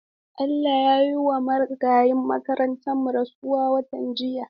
Allah ya yiwa Marigayin makarantarmu rasuwa watan jiya.